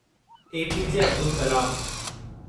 APJ Abdul Kalam